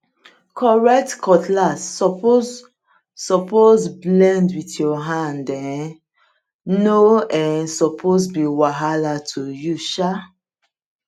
correct cutlass suppose suppose blend with your hand um no um suppose be wahala to use um